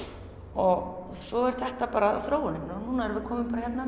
og svo er þetta bara þróunin og nú erum við komin hingað